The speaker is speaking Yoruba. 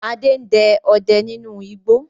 Adé ń dẹ ọdẹ nínú igbó